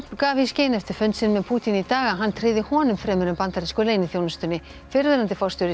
gaf í skyn eftir fund sinn með Pútín í dag að hann tryði honum fremur en bandarísku leyniþjónustunni fyrrverandi forstjóri